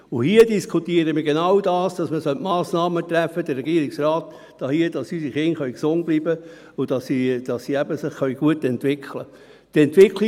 Und hier diskutieren wir über genau dies: dass der Regierungsrat hier Massnahmen treffen sollte, damit unsere Kinder gesund bleiben und sich eben gut entwickeln können.